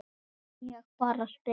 Ég bara spyr!